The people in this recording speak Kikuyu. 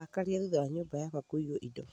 Ndarakarire thutha wa nyumba yakwa kũiyũo indo